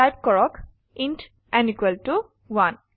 type কৰক int n 1